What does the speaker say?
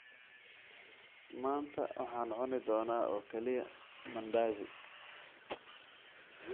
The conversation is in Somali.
Maanta waxaan cuni doonaa oo kaliya mandazi